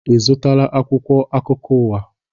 Ị zụtara akwụkwọ akụkọ ụwa ahụ?